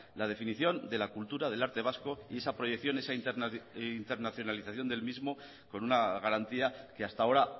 la definición de la cultura del arte vasco y esa proyección esa internacionalización del mismo con una garantía que hasta ahora